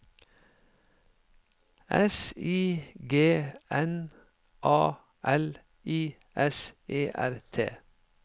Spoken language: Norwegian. S I G N A L I S E R T